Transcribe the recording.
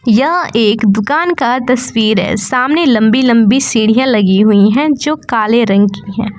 यह एक दुकान का तस्वीर है सामने लंबी लंबी सीढ़ियां लगी हुई है जो काले रंग की है।